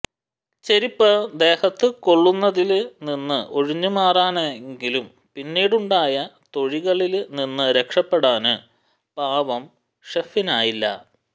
ചെരിപ്പ് ദേഹത്തുകൊള്ളുന്നതില്നിന്ന് ഒഴിഞ്ഞുമാറാനായെങ്കിലും പിന്നീടുണ്ടായ തൊഴികളില്നിന്ന് രക്ഷപ്പെടാന് പാവം ഷെഫിനായില്ല